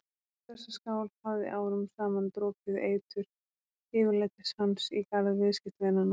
Í þessa skál hafði árum saman dropið eitur yfirlætis hans í garð viðskiptavinanna.